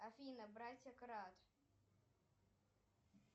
афина братья крат